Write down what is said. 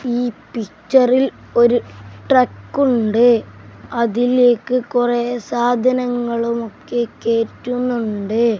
ഈ പിക്ചറിൽ ഒരു ട്രക്കുണ്ട് അതിലേക്ക് കൊറേ സാധനങ്ങളുമൊക്കെ കേറ്റുന്നുണ്ട്.